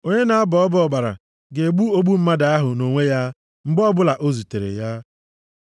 Onye na-abọ ọbọ ọbara ga-egbu ogbu mmadụ ahụ nʼonwe ya mgbe ọbụla o zutere ya.